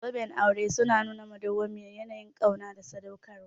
Zoben aure suna nuna madawwamiyar yanayin ƙauna da sadaukarwa.